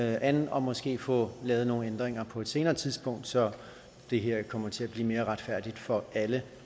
an og måske få lavet nogle ændringer på et senere tidspunkt så det her kommer til at blive mere retfærdigt for alle